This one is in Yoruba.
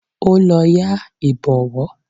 Ó lọ yá Ìbọ̀wọ́